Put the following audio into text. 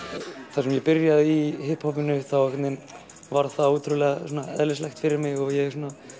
þar sem ég byrjaði í þá einhvern veginn varð það ótrúlega eðlislægt fyrir mig og ég